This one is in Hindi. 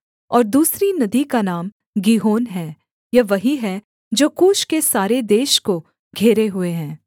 और दूसरी नदी का नाम गीहोन है यह वही है जो कूश के सारे देश को घेरे हुए है